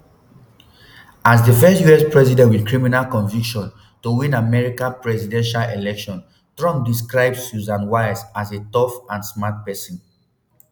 as di first us president wit criminal conviction to win america presidential election trump describe susan wiles as a tough and smart pesin.